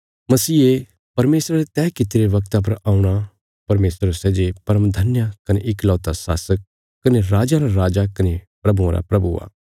मसीहे परमेशरा रे तैह कित्तिरे वगता पर औणा परमेशर सै जे परमधन्य कने इकलौता शासक कने राजयां रा राजा कने प्रभुआं रा प्रभु आ